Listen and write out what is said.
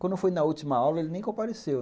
Quando foi na última aula, ele nem compareceu.